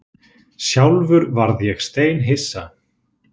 Sjálfur varð ég steinhissa